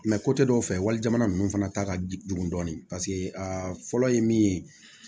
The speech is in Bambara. dɔw fɛ wali jamana ninnu fana ta ka jugu dɔɔnin paseke aa fɔlɔ ye min ye